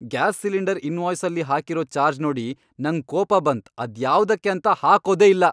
Gas cylinder ಇನ್ವಾಯ್ಸ್ನಲ್ಲಿ ಹಾಕಿರೋ charge ಅನ್ನೋಡಿ ನಂಗ್ ಕೋಪ ಬಂತ್ ಅದು ಯಾವುದಕ್ಕೆ ಅಂತ ಹಾಕೋದೇ ಇಲ್ಲ.